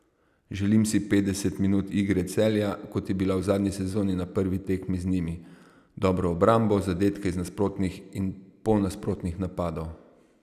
Želim si petdeset minut igre Celja, kot je bila v zadnji sezoni na prvi tekmi z njimi, dobro obrambo, zadetke iz nasprotnih in polnasprotnih napadov.